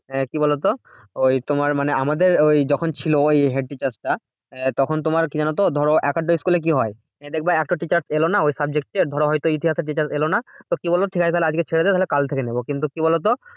হ্যাঁ কি বলতো? ওই তোমার মানে আমাদের ওই যখন ছিল ওই head teacher টা এ তখন তোমার কি জানতো? ধরো একেকটা school এ কি হয়? দেখবে একটা teacher এলো না ওই subject এর ধরো হয়ত ইতিহাসের teacher এলো না। তো কি বলবো? ঠিকাছে তাহলে আজকে ছেড়ে দে তাহলে কালকে থেকে নেবো। কিন্তু কি বলতো?